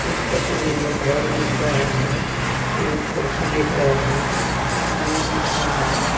इस तस्वीर में घर दिख रहा हैं तीन कुर्सी दिख रहा हैं आदमी दिख रहा हैं।